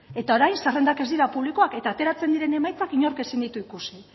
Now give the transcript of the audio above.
eta orain zerrendak ez dira publikoak eta ateratzen diren emaitzak inork ezin ditu ikusi